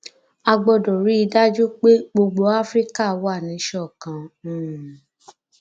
a gbọdọ rí i dájú pé gbogbo afrika wà níṣọkan um